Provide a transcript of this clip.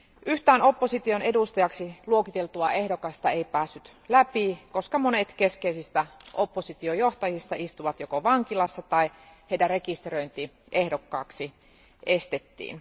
Yhtään opposition edustajaksi luokiteltua ehdokasta ei päässyt läpi, koska monet keskeisistä oppositiojohtajista istuvat joko vankilassa tai heidän rekisteröintinsä ehdokkaaksi estettiin.